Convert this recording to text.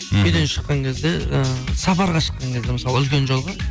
үйден шыққан кезде ы сапараға шыққан кезде мысалы үлкен жолға